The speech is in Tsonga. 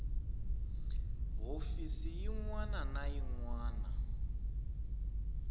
hofisi yin wana na yin